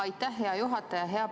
Aitäh, hea juhataja!